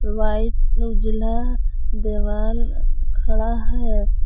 White उजला देवाल खड़ा है।